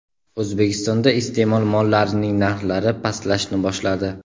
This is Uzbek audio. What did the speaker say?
O‘zbekistonda iste’mol mollarining narxlari pastlashni boshladi.